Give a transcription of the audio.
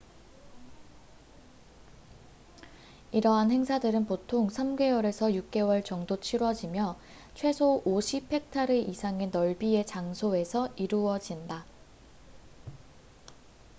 이러한 행사들은 보통 3개월에서 6개월 정도 치뤄지며 최소 50헥타르 이상의 넓이의 장소에서 이루어진다